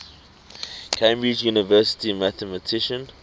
cambridge university mathematician